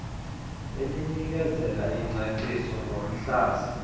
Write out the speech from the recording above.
elinikezela ingcaciso ngomhlaza